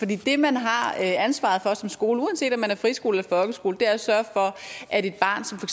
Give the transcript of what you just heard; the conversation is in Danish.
det man har ansvaret for som skole uanset om man er friskole eller folkeskole er at sørge for at et barn som for